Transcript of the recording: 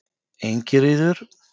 Ingiríður